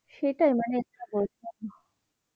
সেটাই মানে কি বলব?